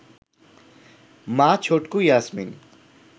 মা ছটকু ইয়াসমিন